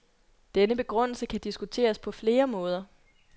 Denne begrundelse kan diskuteres på flere måder.